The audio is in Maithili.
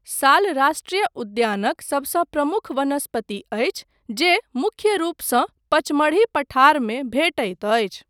साल राष्ट्रीय उद्यानक सबसँ प्रमुख वनस्पति अछि जे मुख्य रूपसँ पचमढ़ी पठारमे भेटैत अछि।